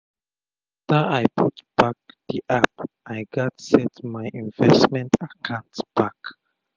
afta i put back d app i gats set my investment akant back